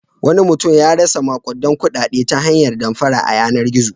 Wani mutum ya rasa maƙudan kuɗaɗe ta hanyar damfara a yanar-gizo.